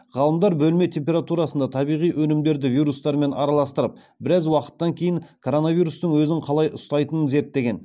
ғалымдар бөлме температурасында табиғи өнімдерді вирустармен араластырып біраз уақыттан кейін коронавирустың өзін қалай ұстайтынын зерттеген